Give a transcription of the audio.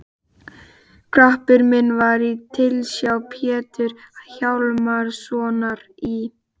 Garpur minn var í tilsjá Péturs Hjálmssonar í